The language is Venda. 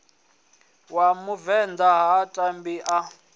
wa muvenḓa ha ṋambi a